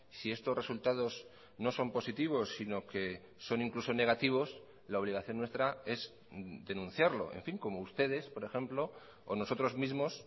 si estos resultados no son positivos sino que son incluso negativos la obligación nuestra es denunciarlo en fin como ustedes por ejemplo o nosotros mismos